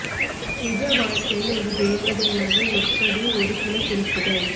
நிஜ வாழ்க்கையில் ஒரு தேவதை ஆக எப்படி ஒரு சில குறிப்புகள்